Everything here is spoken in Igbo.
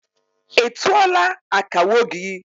I tuọla akawo gị?